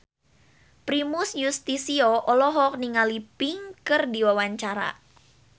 Primus Yustisio olohok ningali Pink keur diwawancara